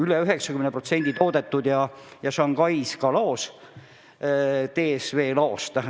Üle 90% tellitust on toodetud ja Shanghais logistikafirma DSV laos olemas.